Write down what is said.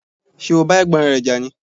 Ṣé o bá Ẹ̀gbọ́n rẹ jà ni?